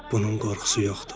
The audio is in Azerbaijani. Bunun qorxusu yoxdur.